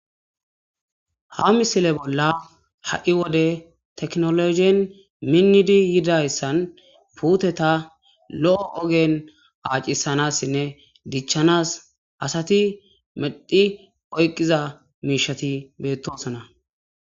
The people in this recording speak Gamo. Ha missile bolla puuteta lo'o oggera accisanas asati oyqqidays bettosona.